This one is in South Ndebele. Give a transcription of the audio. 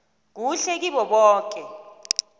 kuhle kibo boke